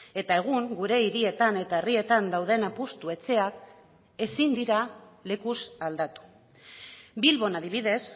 eta egun gure hirietan eta herrietan dauden apustu etxeak ezin dira lekuz aldatu bilbon adibidez